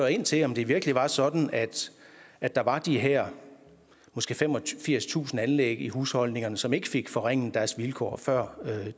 ind til om det virkelig var sådan at der var de her måske femogfirstusind anlæg i husholdningerne som ikke fik forringet deres vilkår før